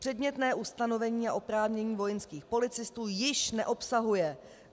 Předmětné ustanovení a oprávnění vojenských policistů již neobsahuje.